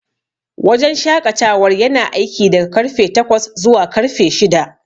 Wajen shaƙatawar yana aiki daga karfe takwas zuwa karfe shida.